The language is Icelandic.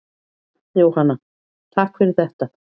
Jóhanna: Takk fyrir þetta.